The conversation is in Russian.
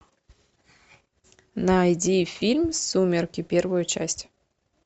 найди фильм сумерки первую часть